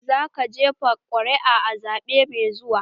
Zaka jefa ƙuri'a a zaɓen da ke zuwa?